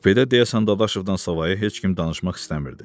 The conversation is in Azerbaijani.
Kupedə deyəsən Dadaşovdan savayı heç kim danışmaq istəmirdi.